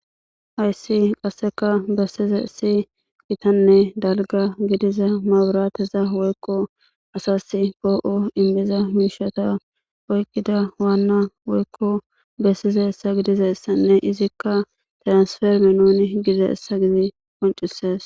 Ayssi qasseka bessize si gitanne dalga gidiza maaburateza woykko asas poo'o inbiza miishata oykkida waanna woykko bessize essa gidizayssanne izikka tiransferme nuni gidida essa gizi qoncisees.